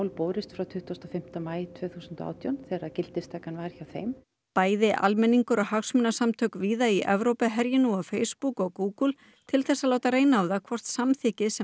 borist frá tuttugasta og fimmta maí tvö þúsund og átján þegar gildistakan var hjá þeim bæði almenningur og hagsmunasamtök víða í Evrópu herji nú á Facebook og Google til að láta reyna á það hvort samþykkið sem